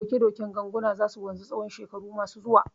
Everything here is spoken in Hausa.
Doke doken ganguna za su wanzu tsawon shekaru masu zuwa.